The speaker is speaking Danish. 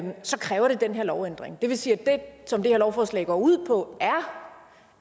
kræver det den her lovændring det vil sige at det som det her lovforslag går ud på